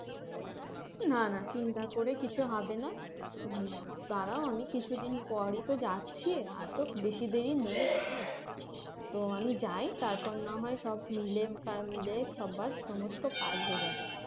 না না চিন্তা করে কিছু হবে না আহ দাঁড়াও আমি কিছু দিন পরেই তো যাচ্ছি আর তো বেশি দেরি নেই তো আমি যাই তখন না হয় সব মিলে মিলে সবার সমস্ত কাজ হয়ে যাবে